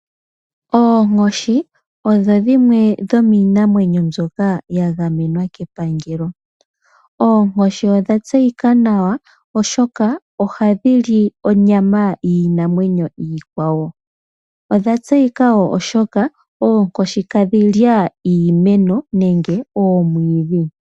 Oonkoshi odho dhimwe dhomiinamwenyo mbyoka ya gamenwa kepangelo. Oonkoshi odha tseyika nawa oshoka ohadhi li onyama yiinamwenyo iikwawo, odha tseyika wo oshoka oonkoshi ihadhi li iimeno nenge omwidhi.